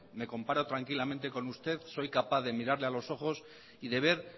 me comparo tranquilamente con usted soy capaz de mirarle a los ojos y de ver